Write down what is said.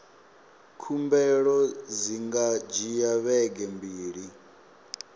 khumbelo dzi nga dzhia vhege mbili